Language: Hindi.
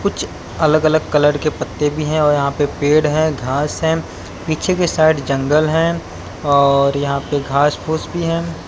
कुछ अलग अलग कलर के पत्ते भी हैं और यहां पे पेड़ हैं घास हैं पीछे के साइड जंगल हैं और यहां पे घास पुस फूस भी हैं।